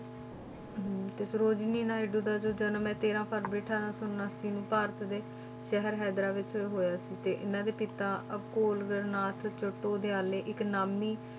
ਹਮ ਤੇ ਸਰੋਜਨੀ ਨਾਇਡੂ ਦਾ ਜੋ ਜਨਮ ਹੈ ਤੇਰਾਂ ਫਰਵਰੀ ਅਠਾਰਾਂ ਸੌ ਉਣਾਸੀ ਨੂੰ ਭਾਰਤ ਦੇ ਸ਼ਹਿਰ ਹੈਦਰਾ ਵਿੱਚ ਹੋਇਆ ਸੀ, ਤੇ ਇਹਨਾਂ ਦੇ ਪਿਤਾ ਅਘੋਰਨਾਥ ਚੱਟੋਦਿਆਲੇ ਇੱਕ ਨਾਮੀ